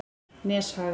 Neshaga